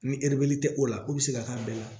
Ni tɛ o la o bɛ se ka taa bɛɛ la